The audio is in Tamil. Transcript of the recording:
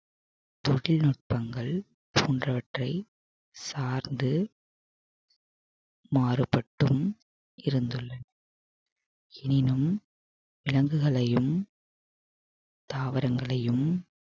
தொழில்நுட்பங்கள் போன்றவற்றை சார்ந்து மாறுபட்டும் இருந்துள்ள~ எனினும் விலங்குகளையும் தாவரங்களையும்